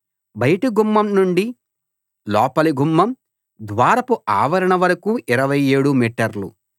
బయటి గుమ్మం నుండి లోపలి గుమ్మం ద్వారపు ఆవరణ వరకూ 27 మీటర్లు